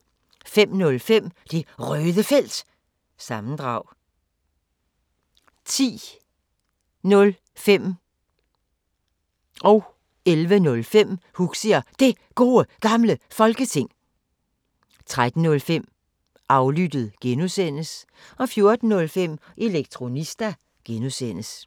05:05: Det Røde Felt – sammendrag 10:05: Huxi og Det Gode Gamle Folketing 11:05: Huxi og Det Gode Gamle Folketing, fortsat 13:05: Aflyttet G) 14:05: Elektronista (G)